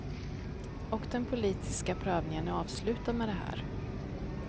Och den politiska prövningen är avslutad med det här.